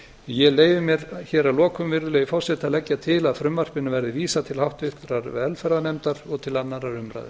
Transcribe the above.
ég leyfi mér hér að lokum virðulegi forseti að leggja til að frumvarpinu verði vísað til háttvirtrar velferðarnefndar og til annarrar umræðu